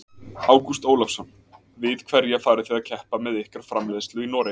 Ágúst Ólafsson: Við hverja farið þið að keppa með ykkar framleiðslu í Noregi?